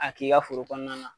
A k'i ka foro kɔɔna na